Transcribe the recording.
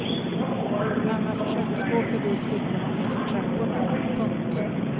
Mamma försökte gå förbi flickorna nerför trapporna. punkt